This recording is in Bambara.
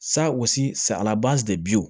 Sa u salaban de bi